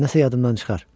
Nəsə yadımdan çıxar.